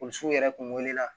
O sow yɛrɛ kun wuli la